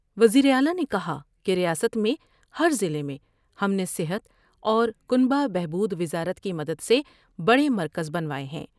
وزیراعلی نے کہا کہ ریاست میں ہر ضلع میں ہم نے صحت اور کنبہ بہبو د وزارت کی مدد سے بڑے مرکز بنواۓ ہیں ۔